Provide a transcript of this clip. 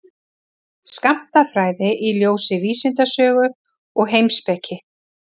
Skammtafræði í ljósi vísindasögu og heimspeki.